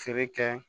Feere kɛ